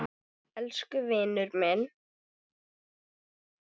Elsku vinur minn.